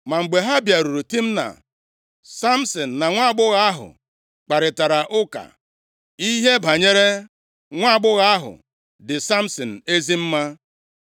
Ma mgbe ha bịaruru Timna, Samsin na nwaagbọghọ ahụ kparịtara ụka. Ihe banyere nwaagbọghọ ahụ dị Samsin ezi mma.